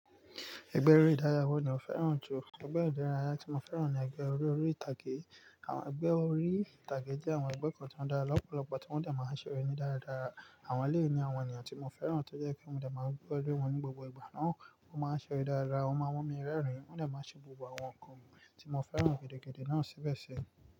Ẹgbẹ́ eré ìdárayá wo ni o fẹ́ràn jù? Ẹgbẹ́ ìdárayá tí mo fẹ́ràn ni ẹgbẹ́ orí orí ìtàgé. Àwọn ẹgbẹ́ orí ìtàgé jẹ́ àwọn ẹgbẹ́ kan tí ó dára lọ́pọ̀lọpọ̀ tí wọ́n dẹ̀ máa ń ṣeré ni dáradára. Àwọn leyi ní àwọn ènìyàn tí mo fẹ́ràn tó jẹ́ kí n lè máa gbọ́dọ̀ rí wọ́n ní gbogbo ìgbà náà. Wọ́n máa ń ṣeré dára, wọ́n máa mú mi rẹ́rìn-ín, wọ́n dẹ̀ máa ṣe gbogb àwọn nǹkan mi tí mo fẹ́ràn gẹ́gẹ́dẹ́ náà síbẹ̀ ṣẹ.